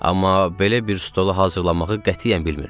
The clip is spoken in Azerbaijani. Amma belə bir stolu hazırlamağı qətiyyən bilmirdim.